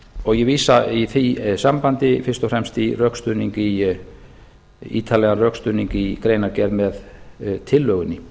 og ég vísa í því sambandi fyrst og fremst í ítarlegan rökstuðning í greinargerð með tillögunni